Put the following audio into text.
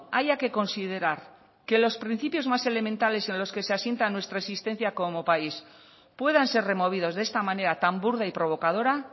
haya que considerar que los principios más elementales en los que se asienta nuestra existencia como país puedan ser removidos de esta manera tan burda y provocadora